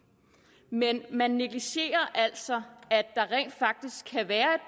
men man negligerer altså at der rent faktisk kan være